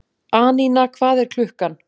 Anína, hvað er klukkan?